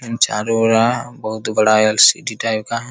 इन चारों ओरा यह बहुत बड़ा एल.सी.डी. टाइप का है।